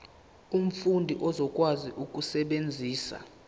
umfundi uzokwazi ukusebenzisa